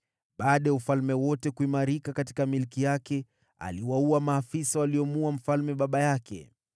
Baada ya ufalme kuimarika mikononi mwake, aliwaua maafisa waliomuua mfalme baba yake.